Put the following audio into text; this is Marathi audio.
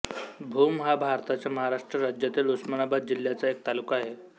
भूम हा भारताच्या महाराष्ट्र राज्यातील उस्मानाबाद जिल्ह्याचा एक तालुका आहे